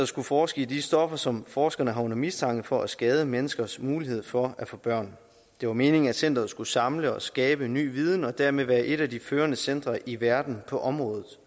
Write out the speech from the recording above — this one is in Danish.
skulle forske i de stoffer som forskerne har under mistanke for at skade menneskers mulighed for at få børn det var meningen at centeret skulle samle og skabe ny viden og dermed være et af de førende centre i verden på området